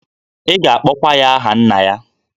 Ị ga-akpọkwa ya aha nna ya.